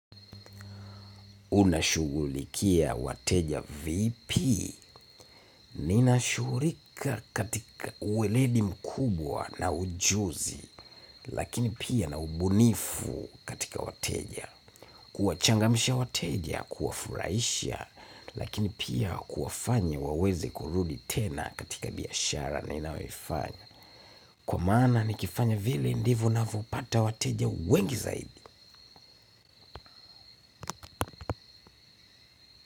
Unashughulikia wateja vipi. Ninashughulikia katika uweledi mkubwa na ujuzi, lakini pia na ubunifu katika wateja. Kuwachangamisha wateja, kuwafurahisha, lakini pia kuwafanya waweze kurudi tena katika biashara ninayoifanya. Kwa maana nikifanya vile ndivo ninavyopata wateja wengi zaidi.